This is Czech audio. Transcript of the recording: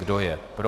Kdo je pro.